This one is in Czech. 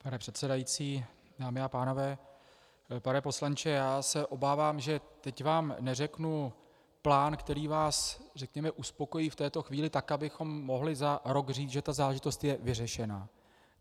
Pane předsedající, dámy a pánové, pane poslanče, já se obávám, že teď vám neřeknu plán, který vás, řekněme, uspokojí v této chvíli tak, abychom mohli za rok říci, že ta záležitost je vyřešena.